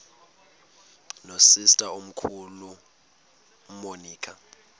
nosister omkhulu umonica